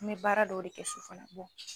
N bɛ baara dɔw de kɛ so fana